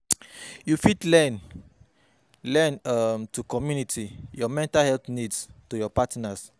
You fit learn learn um to community your mental health needs to your partner.